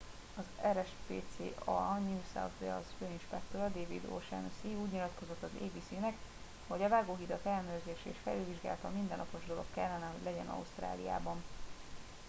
az rspca new south wales főinspektora david o'shannessy úgy nyilatkozott az abc nek hogy a vágóhidak ellenőrzése és felülvizsgálata mindennapos dolog kellene hogy legyen ausztráliában